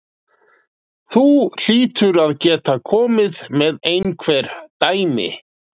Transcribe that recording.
Þú hlýtur að geta komið með einhver dæmi?